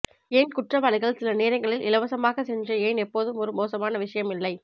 ஏன் குற்றவாளிகள் சில நேரங்களில் இலவசமாக சென்று ஏன் எப்போதும் ஒரு மோசமான விஷயம் இல்லை